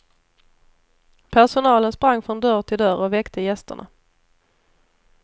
Personalen sprang från dörr till dörr och väckte gästerna.